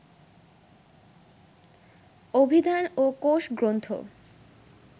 অভিধান ও কোষগ্রন্থ